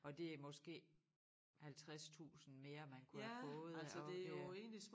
Og det er måske 50 tusind mere man kunne have fået og det